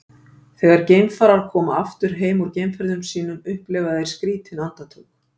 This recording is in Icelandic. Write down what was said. Þegar geimfarar koma aftur heim úr geimferðum sínum upplifa þeir skrýtin andartök.